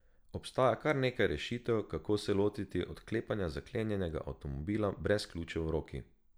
Obstaja kar nekaj rešitev, kako se lotiti odklepanja zaklenjenega avtomobila brez ključev v roki.